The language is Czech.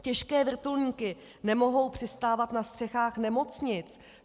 Těžké vrtulníky nemohou přistávat na střechách nemocnic.